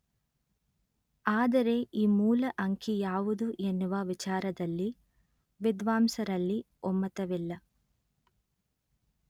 ಆದರೆ ಈ ಮೂಲ ಅಂಕಿ ಯಾವುದು ಎನ್ನುವ ವಿಚಾರದಲ್ಲಿ ವಿದ್ವಾಂಸರಲ್ಲಿ ಒಮ್ಮತವಿಲ್ಲ